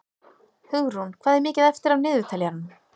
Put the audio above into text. Hugrún, hvað er mikið eftir af niðurteljaranum?